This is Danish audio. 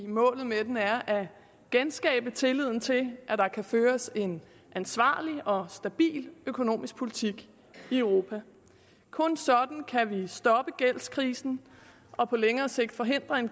målet med den er at genskabe tilliden til at der kan føres en ansvarlig og stabil økonomisk politik i europa kun sådan kan vi stoppe gældskrisen og på længere sigt forhindre en